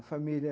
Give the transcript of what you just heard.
A família...